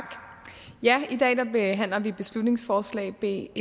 i dag behandler vi beslutningsforslag b